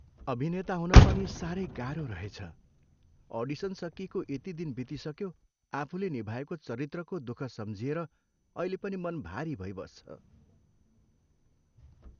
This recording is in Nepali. अभिनेता हुन पनि साह्रै गाह्रो रहेछ। अडिसन सकिएको यति दिन बितिसक्यो, आफुले निभाएको चरित्रको दुःख सम्झिएर अहिले पनि मन भारी भइबस्छ।